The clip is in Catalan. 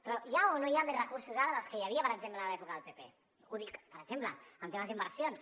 però hi ha o no hi ha més recursos ara dels que hi havia per exemple en l’època del pp ho dic per exemple en temes d’inversions